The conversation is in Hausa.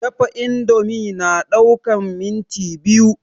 Dafa indomie na ɗaukan minti biyu